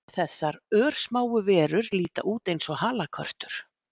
Þessar örsmáu verur líta út eins og halakörtur